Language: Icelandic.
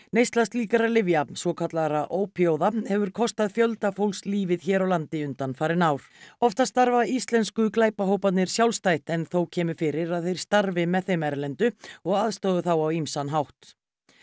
neysla slíkra lyfja svokallaðra ópíóíða hefur kostað fjölda fólks lífið hér á landi undanfarin ár oftast starfa íslensku sjálfstætt en þó kemur fyrir að þeir starfi með þeim erlendu og aðstoði þá á ýmsan hátt